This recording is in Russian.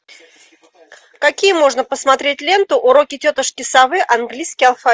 какие можно посмотреть ленту уроки тетушки совы английский